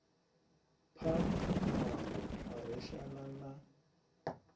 phamu muṋango a reshana na